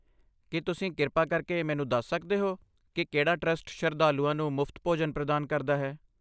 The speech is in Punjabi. ਕੀ ਤੁਸੀਂ ਕਿਰਪਾ ਕਰਕੇ ਮੈਨੂੰ ਦੱਸ ਸਕਦੇ ਹੋ ਕਿ ਕਿਹੜਾ ਟਰਸਟ ਸ਼ਰਧਾਲੂਆਂ ਨੂੰ ਮੁਫਤ ਭੋਜਨ ਪ੍ਰਦਾਨ ਕਰਦਾ ਹੈ?